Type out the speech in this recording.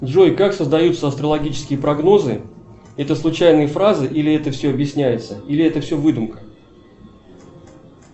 джой как создаются астрологические прогнозы это случайные фразы или это все объясняется или это все выдумка